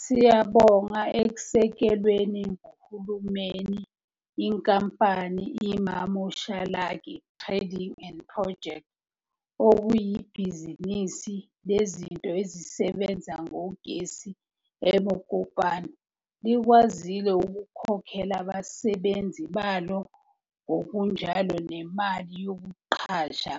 Siyabonga ekwesekweni nguhulumeni, inkampani i-Mamoshalagae Trading and Projects, okuyibhizinisi lezinto ezisebenza ngogesi e-Mokopane, likwazile ukukhokhela abasebenzi balo ngokunjalo nemali yokuqasha